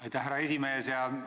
Aitäh, härra esimees!